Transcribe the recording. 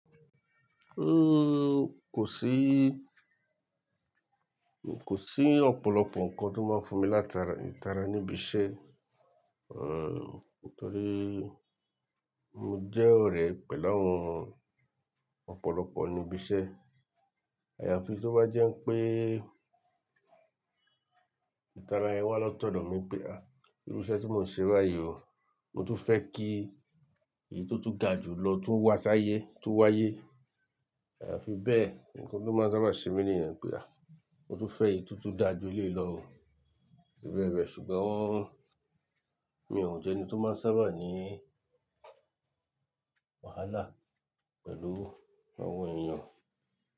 Uhm, kò sí, kò sí ọ̀pọ̀lọpọ̀ nǹkan tó máa ń fún mi látara, ìtara níbí iṣẹ́. Uhm, nítorí mo jẹ́ ọ̀rẹ́ pẹ̀lú àwọn ọ̀pọ̀lọpọ̀ níbí iṣẹ́. Àyafi tó bá jẹ́ pé ìtara yẹn wá la tọ̀dọ̀ mi pé, "à, irú iṣẹ́ tí mò ń ṣe báyìí ò, mo tun fẹ́ kí èyí tó tún ga jùlọ tó wá sáyé, tó wáyé." Àyafi bẹ́ẹ̀, nǹkan tó máa ń sábà ṣe mi nìyẹn pé, "à, mo tun fẹ́ èyí tó tún dà jú eléyìí lọ o." Titun rẹ̀ rẹ̀, ṣùgbọ́n mi ò jẹ́ ẹni tó máa ń sábà ní wàhálà pẹ̀lú àwọn èèyàn.